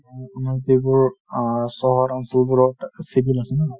তোমাৰ যিবোৰ অ চহৰ অঞ্চলবোৰত civil আছে ন |